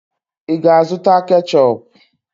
Ị ga-azụta ketchup?